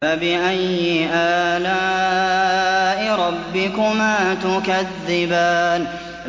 فَبِأَيِّ آلَاءِ رَبِّكُمَا تُكَذِّبَانِ